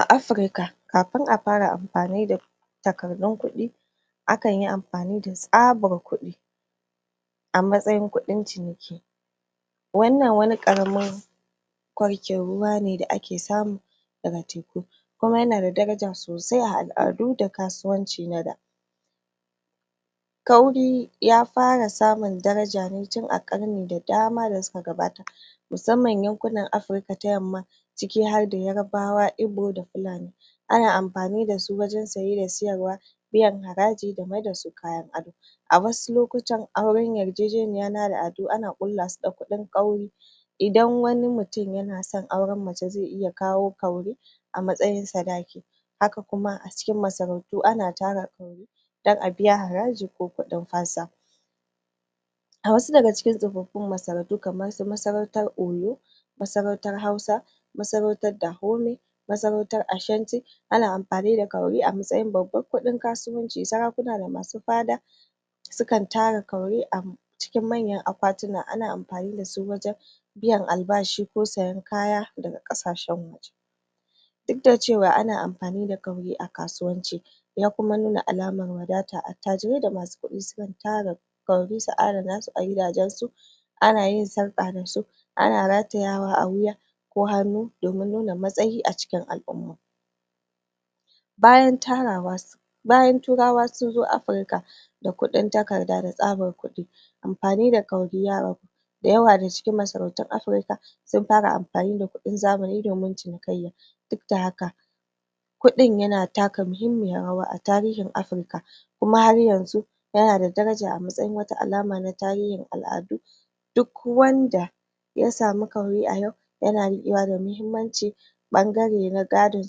A afirika kafin a fara amfani da takardun kudi akanyi amfani da tsabar kudi a matsayin kudin ciniki wanna wani karamin wuri wato a ruwa ne da ake samu daga teku kuma yanada daraja a al'adu da kasuwanci na da wuri wato [kauri ]ya fara samun daraja ne tin a karni da dama da suka gabata musamman yankunan Afirka ta yamma ciki harda yarbawa, ibo da filani ana amfani da su wajan saye da sayarwa biyan haraji da mai da su kayan aro a wasu lokutan auran yarjejeniya na al'adu ana kullasu da kudin wuri watau[ kauri] idan wani mutum na son mace zai iya kawo kudin wuri wato [kauri] a matsayi sadaki haka kuma a cikin masarautu ana tara kauri dan a biya haraji ko a biya kudin fansa a wasu daga cikin tsofaffin masarautu kamar masarautar yarbawa [ oyo] masarautar hausa masarautar dahome masarautar ashanti ana amfani da kauli a matsayin babban kudin kasuwanci sarakuna da masu fada suna tara kauri a cikin manyan akwatina ana ammfani da su wajan ko biyan albashi ko sayan kaya daga kasashen waje duk da cewa ana amfani da kauri a kasuwanci da kuma nuna alamar wadata attajire da masu sun tara kauri sun adana su a gidajan su ana yin sarka da su ana ratayawa a wuya ko hannu domin nuna matsayi a cikin al'umma bayan tarawa bayan turawa sun zo afirka da kudin takarda da kudin takarda da tsabar kudi amfani da wuri wato[ kauri] ya ragu dayawa daga cikin masarautun Afirika sun fara amfani da kudin zamani domin cini kayya duk da haka kudin yana taka muhimmiyar rawa a tarihin Afirka kuma har yanzu yana da daraja a matsayin wata alama na tarihin al'adun duk wanda ya samu wuri wato [ kaur]i a yau yana rikewa da mahimmanci bangare na gado a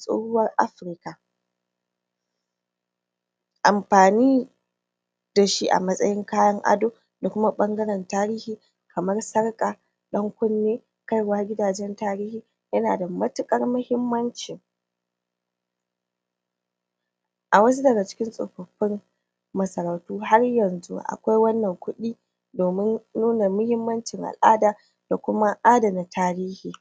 tshuwar Afirka amfani da shi a matsayin kayan ado da kuma bangaran tarihi kamar sarka dan kunne ana kaiwa gidan tarihi yana da matikar mahimmanci a wasu daga cikin tsofaffin masarautu har yanzu a kwai wannan kudi domin nuna mahimmancin al'ada da kuma adana tarihi